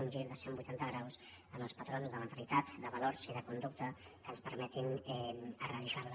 un gir de cent vuitanta graus en els patrons de mentalitat de valors i de conducta que ens permetin eradicar la